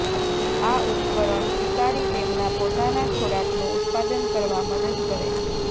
આ ઉપકરણ શિકારી તેમના પોતાના ખોરાકનું ઉત્પાદન કરવા મદદ કરે છે